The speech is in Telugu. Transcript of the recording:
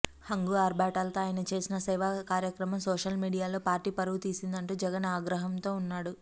హంగు ఆర్బాటాలతో ఆయన చేసిన సేవా కార్యక్రమం సోషల్ మీడియాలో పార్టీ పరువు తీసిందంటూ జగన్ ఆగ్రహంతో ఉన్నాడు